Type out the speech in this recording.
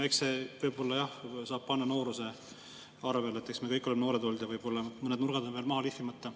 Selle võib-olla saab panna nooruse arvele, eks me kõik oleme noored olnud ja võib-olla mõned nurgad on veel maha lihvimata.